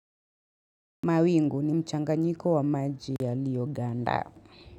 Mawingu ni mchanganyiko wa maji yalioganda.